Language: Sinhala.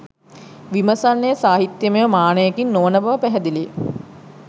විමසන්නේ සාහිත්‍යයමය මානයකින් නො වන බව පැහැදිලි ය